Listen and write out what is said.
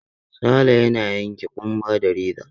Sale yana yanke ƙumba da reza.